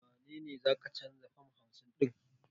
Wane ne za ka canza fam hamsin ɗin?